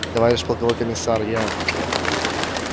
товарищ полковой комиссар я